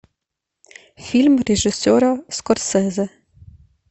фильм режиссера скорсезе